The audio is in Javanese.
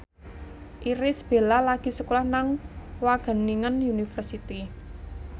Irish Bella lagi sekolah nang Wageningen University